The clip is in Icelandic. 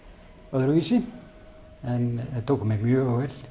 öðruvísi en þeir tóku mér mjög vel